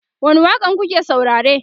wani waƙa n kuke saurare?